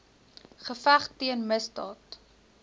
geveg teen misdaad